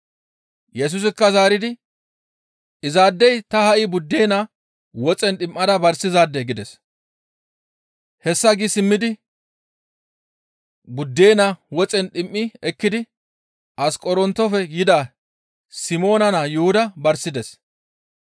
Yesusikka zaaridi, «Izaadey ta ha7i buddena woxen dhim7ada barsizaade» gides; hessa gi simmidi buddena woxen dhim7i ekkidi Asqorontofe yida Simoona naa Yuhuda barsides.